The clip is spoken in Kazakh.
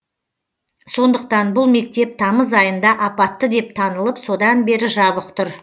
сондықтан бұл мектеп тамыз айында апатты деп танылып содан бері жабық тұр